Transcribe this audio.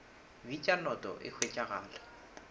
bitšwa noto noto e hwetšegala